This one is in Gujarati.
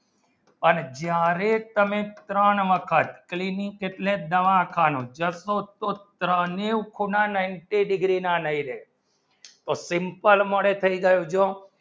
અને જ્યારે તમે ત્રણ વખત કેટલે દવાખાનું જાસો તો ત્રણ ની ખૂણા ninety degree માં લેયી તો simple મળે થયી જયો જો